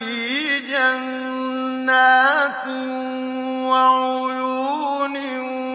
فِي جَنَّاتٍ وَعُيُونٍ